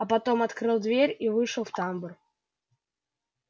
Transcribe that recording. а потом открыл дверь и вышел в тамбур